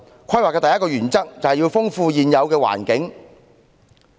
規劃的第一個原則，是要豐富現有環境。